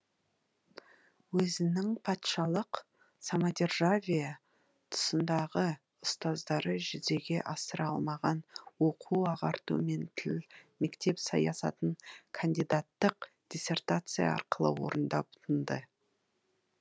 өзінің патшалық самодержавие тұсындағы ұстаздары жүзеге асыра алмаған оқу ағарту мен тіл мектеп саясатын кандидаттық диссертация арқылы орындап тынды